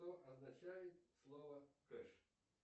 что означает слово кэш